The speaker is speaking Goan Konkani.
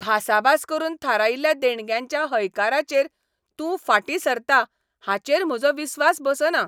भासाभास करून थारायिल्ल्या देणग्यांच्या हयकाराचेर तूं फाटीं सरता हाचेर म्हजो विस्वास बसना .